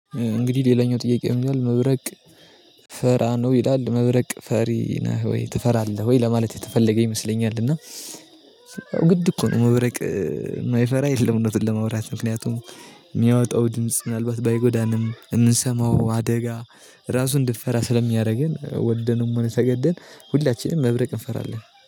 እንግዲህ ሌላኛው ጥያቄ ምን ይላል? መብረቅ ፈራ ነው ይላል መብረቅ ፈሪ ነህ ወይ ትፈራለህ ወይ ለማለት የተፈለገ ይመስለኛል። እና ግድ እኮ ነው መብረቅ የማይፈራ የለም። እውነትን ለማውራት ምክንያቱም የሚያወጣው ድምጽ ምናልባት ባይጎዳንም የምንሰማው አደጋ ራሱ እንድፍራ ስለሚያደርገን ወደንም ሆነ ተሰገደን ሁላችንም መብረቅ እንፈራለን።